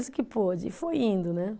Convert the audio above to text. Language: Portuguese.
O que pôde. Foi indo né